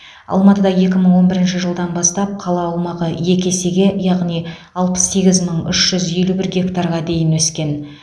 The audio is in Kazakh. алматыда екі мың он бірінші жылдан бастап қала аумағы екі есеге яғни алпыс сегіз мың үш жүз елу бір гектарға дейін өскен